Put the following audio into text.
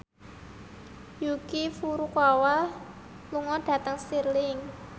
Yuki Furukawa lunga dhateng Stirling